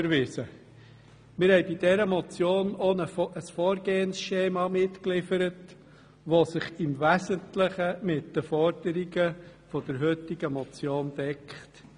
Wir haben mit dieser Motion auch ein Vorgehensschema mitgeliefert, welches sich im wesentlichen mit den Forderungen der heutigen Motion deckt.